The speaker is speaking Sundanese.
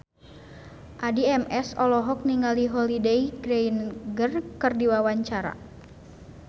Addie MS olohok ningali Holliday Grainger keur diwawancara